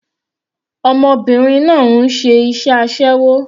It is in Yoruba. Ọmọbìnrin náà ń ṣe aséwó.